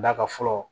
Da ka fɔlɔ